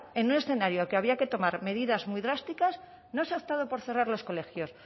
en un escenario en el que había que tomar medidas muy drásticas no se ha optado por cerrar los colegios